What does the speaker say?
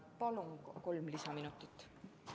Palun kolm lisaminutit!